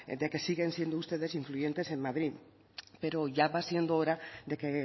de que siguen siendo ustedes influyentes en madrid pero ya va siendo hora de que